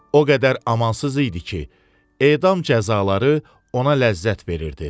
O qədər amansız idi ki, edam cəzaları ona ləzzət verirdi.